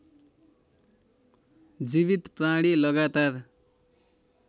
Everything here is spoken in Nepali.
जीवित प्राणी लगातार